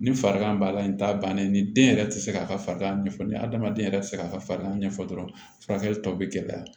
Ni farigan b'a la nin t'a bannen ye ni den yɛrɛ tɛ se k'a ka farigan ɲɛfɔ ni hadamaden yɛrɛ tɛ se k'a ka farigan ɲɛfɔ dɔrɔn furakɛli tɔw bɛ gɛlɛya